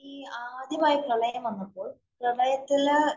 ഈ ആദ്യമായി പ്രളയം വന്നപ്പോള്‍ പ്രളയത്തില്